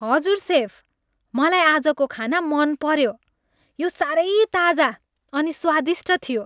हजुर, सेफ, मलाई आजको खाना मनपऱ्यो। यो साह्रै ताजा अनि स्वादिष्ट थियो।